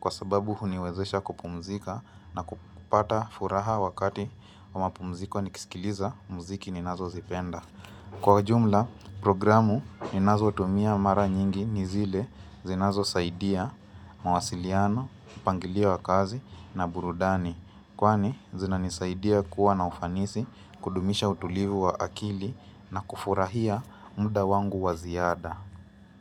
Kwa sababu huniwezesha kupumzika na kupata furaha wakati wa mapumziko nikisikiliza muziki ni nazozipenda Kwa ujumla, programu ninazotumia mara nyingi nizile zinazosaidia, mawasiliano, mpangilio wa kazi na burudani. Kwani zinanisaidia kuwa na ufanisi kudumisha utulivu wa akili na kufurahia muda wangu wa ziada.